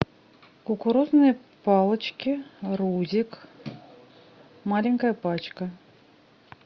кукурузные палочки рузик маленькая пачка